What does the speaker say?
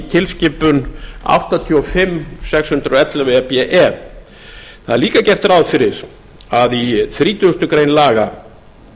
tilskipun áttatíu og fimm sex hundruð og ellefu e b e það er líka gert ráð fyrir að í þrítugustu greinar laga